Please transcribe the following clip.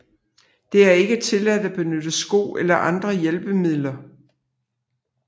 Det er ikke tilladt at benytte sko eller andre hjælpemidler